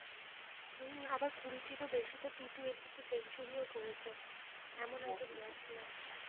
আবার কুড়িটির ও বেশি তো T twenty তে সেঞ্চুরি ও করেছে এমন একজন batsman